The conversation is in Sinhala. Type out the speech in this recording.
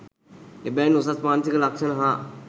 එබැවින් උසස් මානසික ලක්ෂණ හා